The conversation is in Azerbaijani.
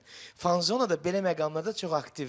Fanzona da belə məqamlarda çox aktivdir.